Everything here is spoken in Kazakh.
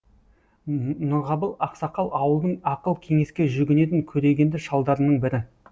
нұрғабыл ақсақал ауылдың ақыл кеңеске жүгінетін көрегенді шалдарының бірі